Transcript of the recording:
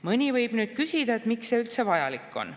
Mõni võib nüüd küsida, miks see üldse vajalik on.